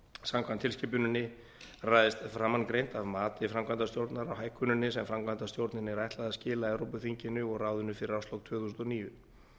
samkvæmt tilskipuninni ræðst framangreint af mati framkvæmdastjórnarinnar á hækkuninni sem framkvæmdastjórninni er ætlað að skila evrópuþinginu og ráðinu fyrir árslok tvö þúsund og níu